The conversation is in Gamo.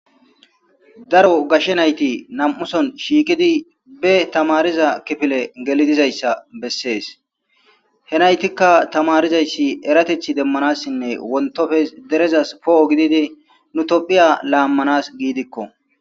daro gashshe nayti nam7uson shiikidi be tamariza kifile gelidizayssa bessees henaytikka tamarizayssi eratethi demmanassinne wontofes derezas poo7o gididi nu tophiya laammanas giidikko